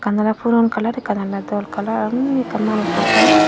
ekkan oley puron kalar ekkan oley dol kalar aro unni ekkan manujo gor.